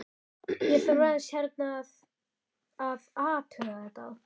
Ég þarf aðeins hérna að. að athuga þetta.